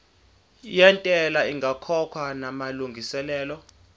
yentela ingakakhokhwa namalungiselo